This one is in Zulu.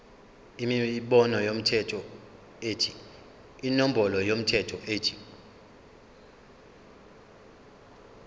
inombolo yomthelo ethi